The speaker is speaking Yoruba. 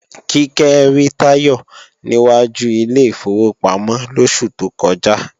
Kíkẹ́ rí Táyọ̀ ní wájú ilé ìfowópamọ́ lóṣù tó kọjá